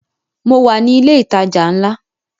Mo wà ní ilẹ̀ ìtajà ńlá